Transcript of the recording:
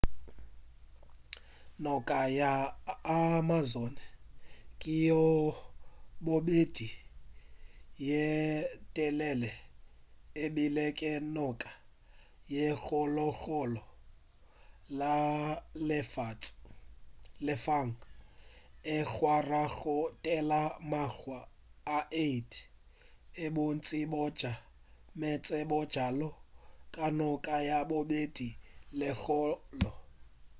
noka ya amazon ke ya bobedi ye telele ebile ke noka ye kgolokgolo mo lefaseng e rwala go feta makga a 8 a bontši bja meetse bjalo ka noka ya bobedi ye kgolo